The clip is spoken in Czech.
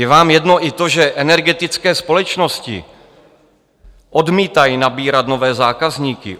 Je vám jedno i to, že energetické společnosti odmítají nabírat nové zákazníky?